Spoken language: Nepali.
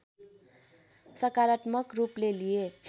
सकारात्मक रूपले लिए